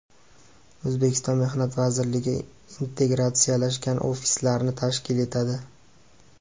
O‘zbekiston Mehnat vazirligi integratsiyalashgan ofislarni tashkil etadi.